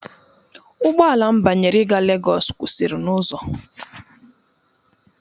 Ụgbọ ala m banyere ịga Legosu kwụsịrị n'ụzọ.